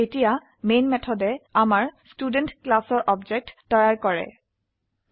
এতিয়া মেন মেথডে আমাৰ ষ্টুডেণ্ট ক্লাসৰ অবজেক্ট তৈয়াৰ কৰক